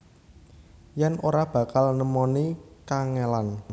Yen ora bakal nemoni kangelan